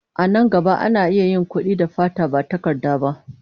A nan gaba, ana iya yin kuɗi da fata ba takarda ba.